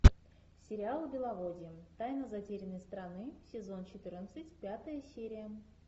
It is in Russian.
сериал беловодье тайна затерянной страны сезон четырнадцать пятая серия